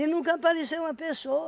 nunca apareceu uma pessoa